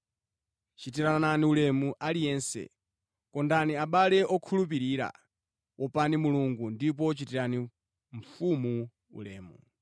Chitirani ulemu aliyense, kondani abale okhulupirira, wopani Mulungu, ndipo chitirani mfumu ulemu.